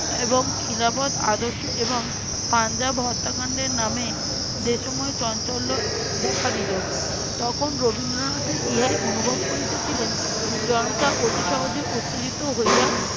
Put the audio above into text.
এবং খিলাফত আদর্শ এবং পাঞ্জাব হত্যাকাণ্ডের নামে দেশময় চঞ্চল্য দেখা দিলো, তখন রবীন্দ্রনাথ ইহাই অনুভব করিতেছিলেন। জনতা অতি সহজে উত্তেজিত হইয়া